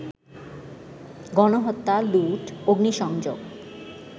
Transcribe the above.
গণহত্যা, লুট, অগ্নিসংযোগ